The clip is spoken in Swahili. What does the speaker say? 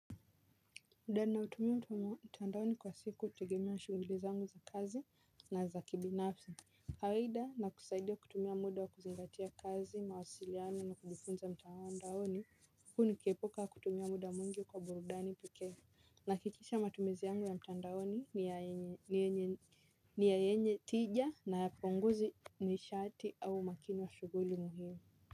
Mud ninaotumia mtandaoni kwa siku hutegemea shughuli zangu za kazi na za kibinafsi. Kawaida nakusaidia kutumia muda wa kuzingatia kazi, mawasiliano na kujifunza mtandaoni, huku nikiepuka kutumia muda mwingi kwa burudani pekee. Nahakikisha matumizi yangu ya mtandaoni ni yenye ni ya yenye tija na hayapunguzi nishati au mkiwa shughuli muhimu.